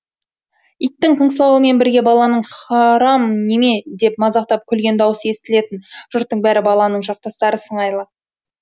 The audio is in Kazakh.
иттің қыңсылауымен бірге баланың харам неме деп мазақтап күлген даусы естілетін жұрттың бәрі баланың жақтастары сыңайлы